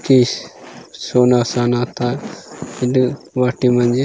किस सोना सनाता ईद वाटी मंजी --